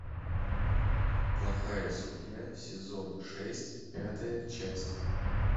плохая судья сезон шесть пятая часть